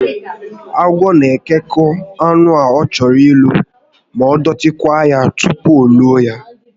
Agwọ na ekekọ anụ ọ chọrọ ilo ma dọtí kwaa ya tupu o loo ya